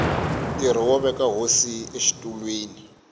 ntirho wo veka hosi exitulwini